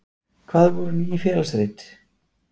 Hvað voru Ný félagsrit?